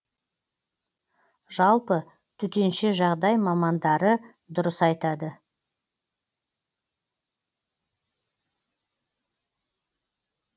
жалпы төтенше жағдай мамандары дұрыс айтады